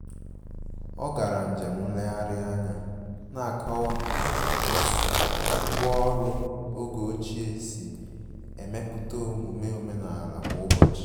Ọ gara njem nlegharị anya na-akọwa otú ngwá ọrụ oge ochie si emepụta omume omenala kwa ụbọchị